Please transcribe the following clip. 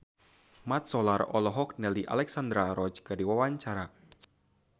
Mat Solar olohok ningali Alexandra Roach keur diwawancara